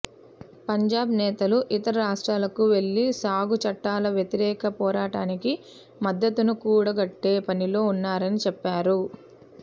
పంజాబ్ నేతలు ఇతర రాష్ట్రాలకు వెళ్లి సాగు చట్టాల వ్యతిరేక పోరాటానికి మద్దతును కూడగట్టే పనిలో ఉన్నారని చెప్పారు